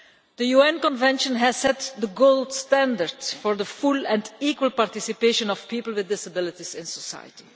The UN Convention has set the gold standard for the full and equal participation of people with disabilities in society.